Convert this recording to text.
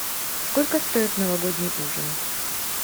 сколько стоит новогодний ужин